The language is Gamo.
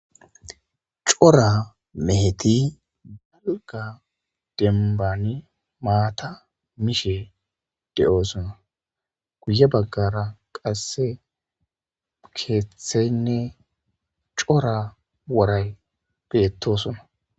cora meheti balga denbani maata miishe de7oosona guye baggara qasse keeththeynne cora woray beettosuna